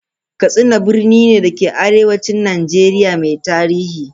Katsina birni ne da ke arewacin Najeriya mai tarihi.